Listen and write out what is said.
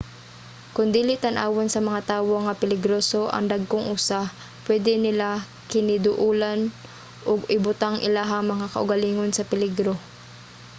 kon dili tan-awon sa mga tawo nga peligroso ang dagkong usa pwede nila kiniduolon ug ibutang ilahang mga kaugalingon sa peligro